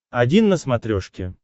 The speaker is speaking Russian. один на смотрешке